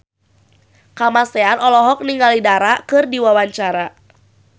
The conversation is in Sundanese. Kamasean olohok ningali Dara keur diwawancara